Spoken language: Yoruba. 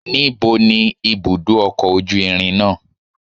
Níbo ni ibùdó ọkọ̀ ojú irin náà?